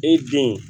E den